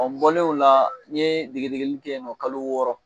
Ɔ n Bɔlen ola n ye degegedeli kɛ yen nɔ kalo wɔɔrɔ